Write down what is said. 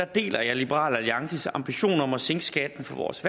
deler jeg liberal alliances ambition om at sænke skatten for vores